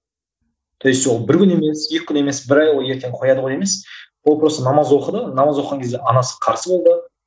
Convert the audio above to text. то есть ол бір күн емес екі күн емес бір ай бойы ертең кояды ғой емес ол просто намаз оқыды намаз оқыған кезде анасы қарсы болды